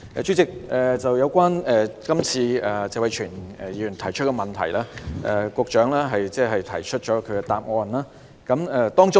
主席，有關今次謝偉銓議員提出的質詢，局長已提供答覆。